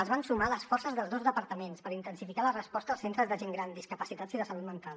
es van sumar les forces dels dos departaments per intensificar la resposta als centres de gent gran discapacitats i de salut mental